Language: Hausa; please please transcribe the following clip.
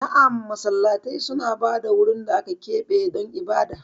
Na'am, Masallatai suna ba da wurin da aka keɓe don ibada.